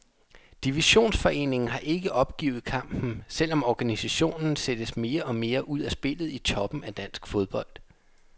Divisionsforeningen har ikke opgivet kampen, selv om organisationen sættes mere og mere ud af spillet i toppen af dansk fodbold.